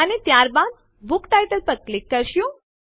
અને ત્યારબાદ book title પર ક્લિક કરીશું